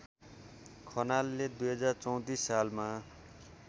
खनालले २०३४ सालमा